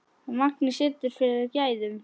Magnið situr fyrir gæðum.